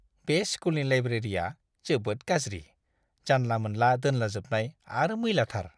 बे स्कुलनि लाइब्रेरिया जोबोद गाज्रि; जानला-मोनला दोनलाजोबनाय आरो मैलाथार!